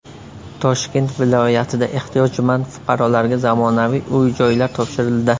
Toshkent viloyatida ehtiyojmand fuqarolarga zamonaviy uy-joylar topshirildi.